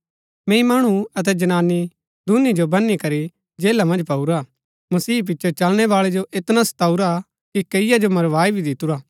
मैंई मणु अतै जनानी दूनी जो बनी बनी करी जेला मन्ज पाऊरा मसीह पिचो चलणै बाळै जो ऐतना सताऊरा कि कैईआ जो मारवाई भी दितुरा